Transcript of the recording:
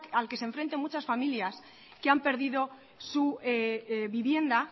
al que se enfrentan muchas familias que han perdido su vivienda